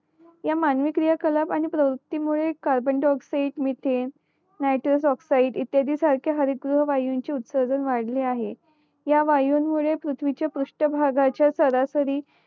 ह्या मानवी क्रिया कलाब आणि प्रवृत्ती मुळे carbon dioxide methane nitrous oxide इत्यादी सारख्या हरित गृही वायूंचे उत्सर्जन वाढले आहे ह्या वायूंमुळे पृथ्वीचे पृष्ठभाग चे सरासरी